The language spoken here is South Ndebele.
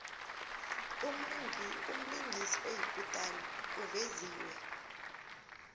umlingisi oyikutani uveziwe